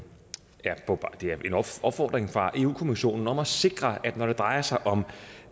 opfordring fra europa kommissionen om at sikre at når det drejer sig om